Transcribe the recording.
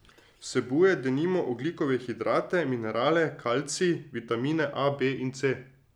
Vsebuje, denimo, ogljikove hidrate, minerale, kalcij, vitamine A, B in C ...